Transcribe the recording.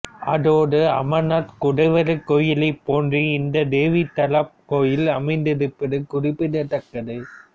அதோடு அமர்நாத் குடைவரைக்கோயிலைப் போன்றே இந்த தேவி தலாப் கோயில் அமைந்திருப்பது குறிப்பிடத்தக்கது